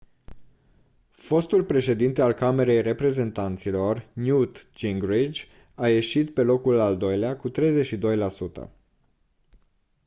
fostul președinte al camerei reprezentanților newt gingrich a ieșit pe locul al doilea cu 32 la sută